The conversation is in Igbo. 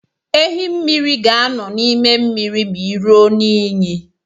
Ehi mmiri ga-anọ n'ime mmiri ma i ruo n'iyi.